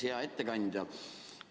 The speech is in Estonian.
Hea ettekandja!